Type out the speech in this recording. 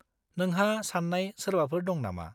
नोंहा सान्नाय सोरबाफोर दं नामा?